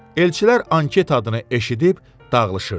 Elçilər anket adını eşidib dağılışırdılar.